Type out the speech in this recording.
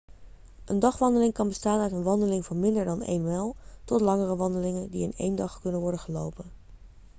een dagwandeling kan bestaan uit een wandeling van minder dan een mijl tot langere wandelingen die in één dag kunnen worden gelopen